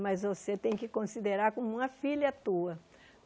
Mas você tem que considerar como uma filha tua.